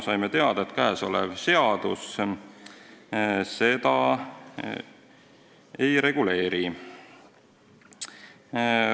Saime teada, et käesolev seadus seda ei reguleeri.